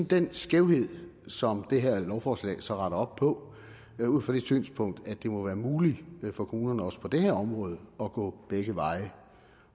den skævhed som det her lovforslag så retter op på ud fra det synspunkt at det må være muligt for kommunerne også på det her område at gå begge veje